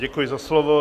Děkuji za slovo.